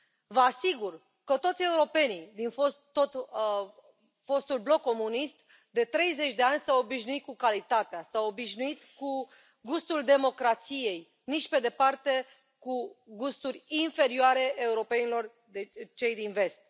Vă asigur că toți europenii din fostul bloc comunist de 30 de ani s au obișnuit cu calitatea, s au obișnuit cu gustul democrației, nici pe departe cu gusturi inferioare europenilor din vest.